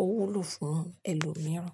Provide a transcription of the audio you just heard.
ó, ó wúlò fún ẹlòmíràn.